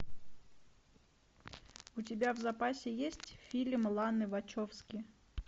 у тебя в запасе есть фильм ланы вачовски